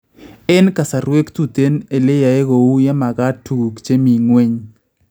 Eng kasarwek tuten ele yaae kouu ye magaat tukuk che mi ng�weny